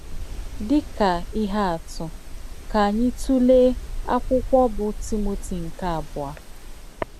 Dị̀ kà ìhè àtụ̀, kà ányị̀ t ùlèé ákwụ́kwọ̀ bụ́ Tímòtì nke Àbùọ̀.